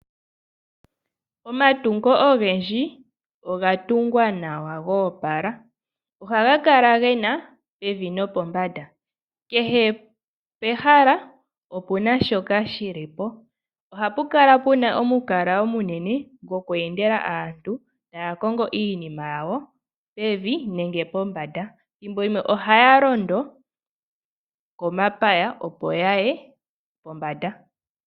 Omatungo ogendji oga tungwa nawa goopala. Ohaga kala gena pevi nopombanda. Kehe pehala opuna shoka shili po. Ohapu kala puna omukala omunene goku endela taya kongo iinima yawo pevi nenge pombanda. Ethimbo limwe ohaya londo komapaya opo ya ye pombanda.